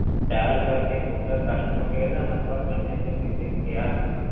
Dial ਕਰਕੇ ਤੁਹਾਡਾ customer care ਦਾ number ਮੈਨੇ ਇੱਥੇ ਬੀਬੀ ਨੂੰ ਕਿਹਾ